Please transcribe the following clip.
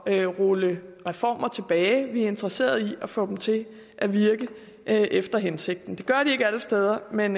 at rulle reformer tilbage vi er interesserede i at få dem til at virke efter hensigten det gør de ikke alle steder men